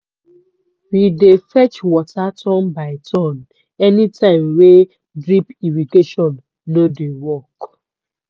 we dey fetch water turn by turn anytime wey drip irrigation no dey work.